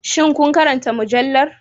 Shin kun karanta mujallar